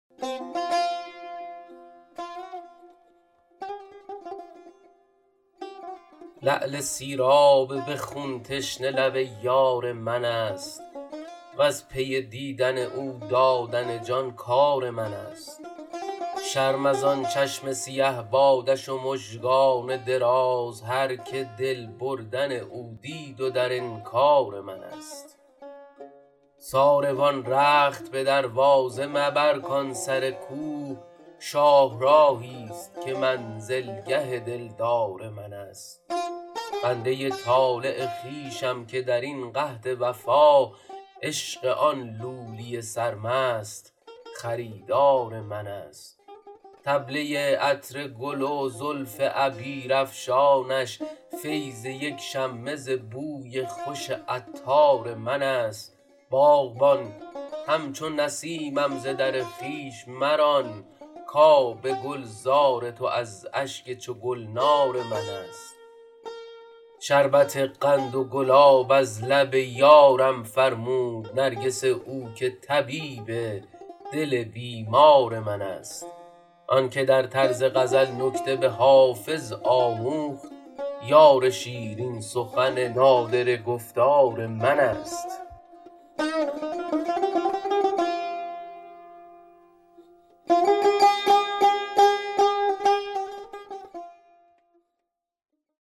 لعل سیراب به خون تشنه لب یار من است وز پی دیدن او دادن جان کار من است شرم از آن چشم سیه بادش و مژگان دراز هرکه دل بردن او دید و در انکار من است ساروان رخت به دروازه مبر کان سر کو شاهراهی ست که منزلگه دلدار من است بنده ی طالع خویشم که در این قحط وفا عشق آن لولی سرمست خریدار من است طبله ی عطر گل و زلف عبیرافشانش فیض یک شمه ز بوی خوش عطار من است باغبان همچو نسیمم ز در خویش مران کآب گلزار تو از اشک چو گلنار من است شربت قند و گلاب از لب یارم فرمود نرگس او که طبیب دل بیمار من است آن که در طرز غزل نکته به حافظ آموخت یار شیرین سخن نادره گفتار من است